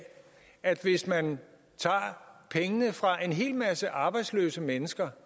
at hvis man tager pengene fra en hel masse arbejdsløse mennesker